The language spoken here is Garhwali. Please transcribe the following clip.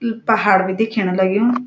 इ पहाड़ बि देख्यण लग्युं।